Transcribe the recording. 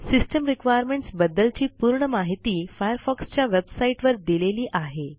system requirements बद्दलची पूर्ण माहिती फायरफॉक्स च्या वेबसाईटवर दिलेली आहे